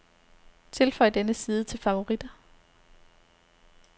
Tilføj denne side til favoritter.